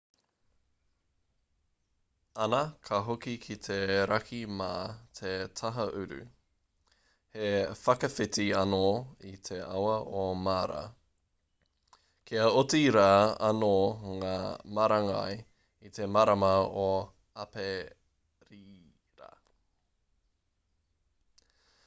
ana ka hoki ki te raki mā te taha uru he whakawhiti anō i te awa o mara kia oti rā anō ngā marangai i te marama o aperira